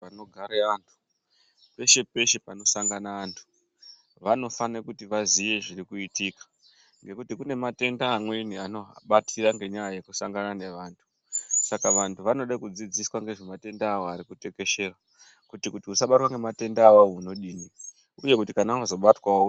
Panogare antu peshe peshe panosangane vantu vanofanire kuti vaziye zviri kuitika ngekuti kune matenda amweni anoha batira ngenyaya yekusangana nevantu saka vantu vanoda kudzidziswa ngezvematenda awo ari kutekeshera kuti usabatwa ngematendawo unodini uye kuti kana wazobatwawo.